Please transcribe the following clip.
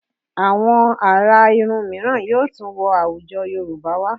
Àwọn àrà irun mìíràn yóò tún wọ àwùjọ Yorùbá wá